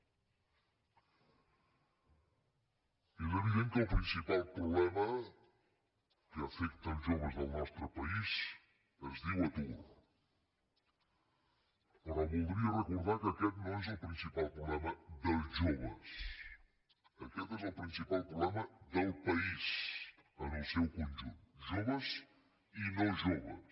és evident que el principal problema que afecta els joves del nostre país es diu atur però voldria recordar que aquest no és el principal problema dels joves aquest és el principal problema del país en el seu conjunt joves i no joves